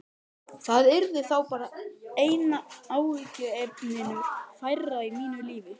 Það yrði þá bara einu áhyggjuefninu færra í mínu lífi.